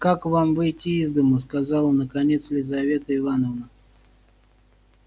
как вам выйти из дому сказала наконец елизавета ивановна